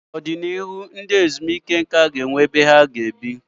N'ọdịnihu, obodo ndị ezumike nká ga-abụ ebe a ga-ahụ ndị lara ezumike nká na ebe obibi onwe ha.